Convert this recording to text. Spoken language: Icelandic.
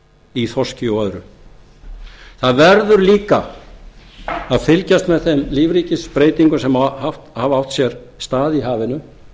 í þorski og öðru það verður líka að fylgjast með þeim lífríkisbreytingum sem hafa átt sér stað í hafinu